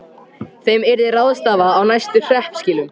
Þeim yrði ráðstafað á næstu hreppskilum.